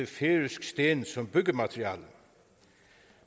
færøsk sten som byggemateriale